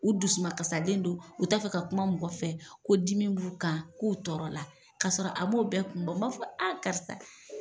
U dusuma kasalen don u t'a fɛ ka kuma mɔgɔ fɛ, ko dimi b'u kan, k'u tɔɔrɔ la k'a sɔrɔ a m'o bɛɛ kun bɔ, n b'a fɔ a karisa